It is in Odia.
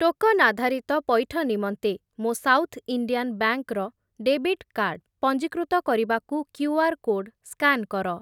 ଟୋକନ୍ ଆଧାରିତ ପଇଠ ନିମନ୍ତେ, ମୋ ସାଉଥ୍ ଇଣ୍ଡିଆନ୍ ବ୍ୟାଙ୍କ୍‌ ର ଡେବିଟ୍ କାର୍ଡ଼ ପଞ୍ଜୀକୃତ କରିବାକୁ କ୍ୟୁଆର୍ କୋଡ୍ ସ୍କାନ୍ କର।